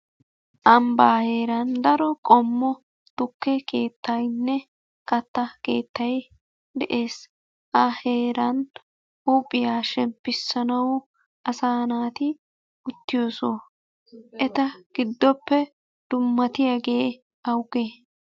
Ambbaa heeran daro qommo tukke keettaynne katta keettay de'ees. Ha heeran huuphiya shemppissanawu asaa naati uttiyo soho. Eta giddoppe dummatiyaagee awugee?